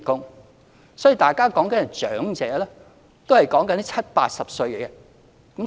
由此可見，大家談論的長者也是70歲、80歲。